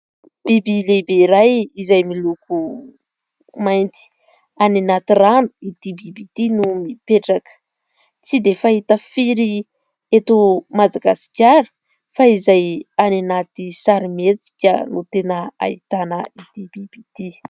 Biby lehibe iray izay miloko mainty, any anaty rano ity biby ity no mipetraka, tsy dia fahita firy eto Madagasikara fa izay any anaty sarimihetsika no tena ahitana ity biby ity.